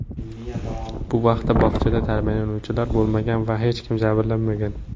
Bu vaqtda bog‘chada tarbiyalanuvchilar bo‘lmagan va hech kim jabrlanmagan.